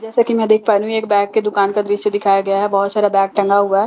जैसा कि मैं देख पा रही हूं एक बैग की दुकान का दृश्य दिखाया गया हैं बहोत सारा बैग टंगा हुआ--